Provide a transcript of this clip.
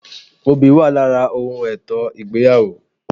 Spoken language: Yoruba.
Obì wà lára ohun ètò ìgbéyàwó